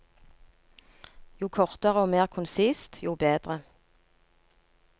Jo kortere og mer konsist, jo bedre.